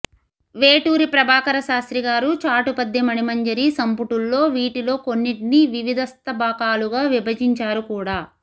వేటూరి ప్రభాకర శాస్త్రిగారు చాటుపద్యమణిమంజరి సంపుటుల్లో వీటిలో కొన్నిటిని వివిధస్తబకాలుగా విభజించారు కూడా